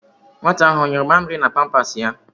Nwata ahụ ọ yụrụ amịrị na pampas ya?